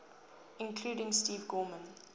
including steve gorman